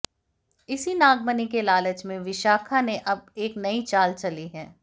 इसी नागमणि के लालच में विशाखा ने अब एक नई चाल चली है